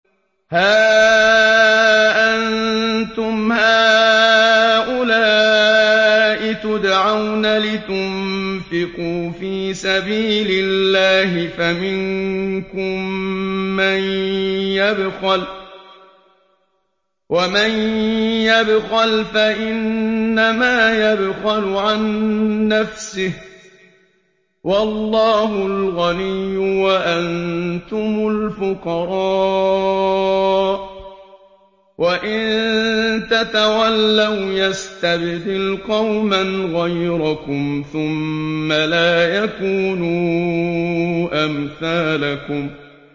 هَا أَنتُمْ هَٰؤُلَاءِ تُدْعَوْنَ لِتُنفِقُوا فِي سَبِيلِ اللَّهِ فَمِنكُم مَّن يَبْخَلُ ۖ وَمَن يَبْخَلْ فَإِنَّمَا يَبْخَلُ عَن نَّفْسِهِ ۚ وَاللَّهُ الْغَنِيُّ وَأَنتُمُ الْفُقَرَاءُ ۚ وَإِن تَتَوَلَّوْا يَسْتَبْدِلْ قَوْمًا غَيْرَكُمْ ثُمَّ لَا يَكُونُوا أَمْثَالَكُم